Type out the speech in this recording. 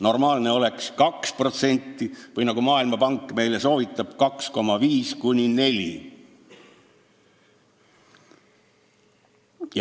Normaalne oleks 2% või nagu Maailmapank meile soovitab, 2,5%–4%.